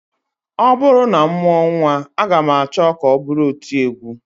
Ọ bụrụ na m mụọ nnwa, aga m achọ ka ọ bụrụ otiegwu